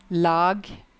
lag